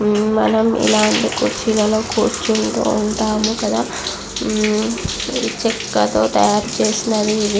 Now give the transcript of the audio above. మనం ఇలాంటి కుర్చీలాలో కూర్చుంటూ ఉంటాము కదా ఇది చెక్కతో తయారుచేసినది ఇది.